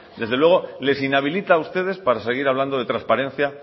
desde luego les inhabilita a ustedes para seguir hablando de transparencia